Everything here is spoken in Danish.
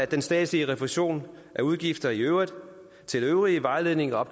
den statslige refusion af udgifter i øvrigt til øvrig vejledning og